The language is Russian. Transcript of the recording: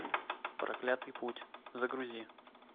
проклятый путь загрузи